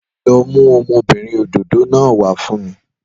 Lọ mú ọmọbìnrin òdòdó náà wá fún mi